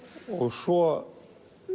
svo